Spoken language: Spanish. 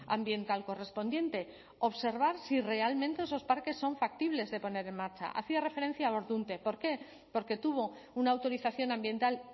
ambiental correspondiente observar si realmente esos parques son factibles de poner en marcha hacía referencia a ordunte por qué porque tuvo una autorización ambiental